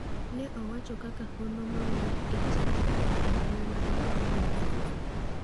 Ne owachi kaka hono mawuok e Chandigarh e mbui mag piny New Zealand.